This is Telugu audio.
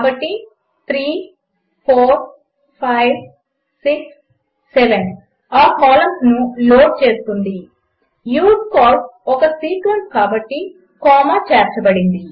కాబట్టి 34567 ఆ కాలంస్ను లోడ్ చేస్తుంది యూజ్కాల్స్ ఒక సీక్వెన్స్ కాబట్టి కామా చేర్చబడింది